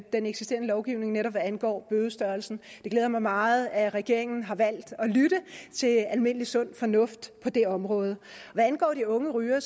den eksisterende lovgivning netop hvad angår bødestørrelsen det glæder mig meget at regeringen har valgt at lytte til almindelig sund fornuft på det område hvad angår de unge rygere